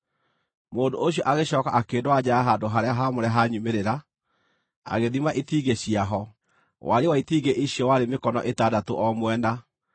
Mũndũ ũcio agĩcooka akĩndwara nja ya handũ-harĩa-haamũre ha nyumĩrĩra, agĩthima itingĩ ciaho; wariĩ wa itingĩ icio warĩ mĩkono ĩtandatũ o mwena.